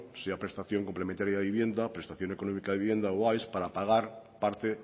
sea prestación complementaria de la vivienda prestación económica de la vivienda o aes para pagar parte